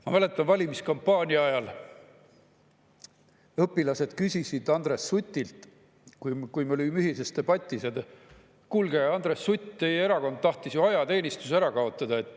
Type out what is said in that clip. Ma mäletan, valimiskampaania ajal õpilased küsisid Andres Sutilt, kui me olime ühises debatis: "Kuulge, Andres Sutt, teie erakond tahtis ju ajateenistuse ära kaotada.